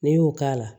N'i y'o k'a la